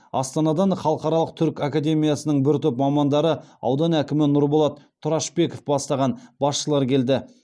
астанадан халықаралық түрік академиясының бір топ мамандары аудан әкімі нұрболат тұрашбеков бастаған басшылар келді